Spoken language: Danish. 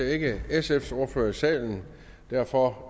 ikke sfs ordfører i salen derfor